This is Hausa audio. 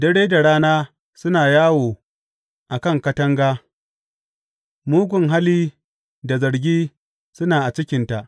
Dare da rana suna yawo a kan katanga; mugun hali da zargi suna a cikinta.